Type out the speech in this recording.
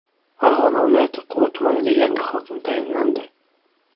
Farg‘ona viloyati Quva tumaniga yangi hokim tayinlandi.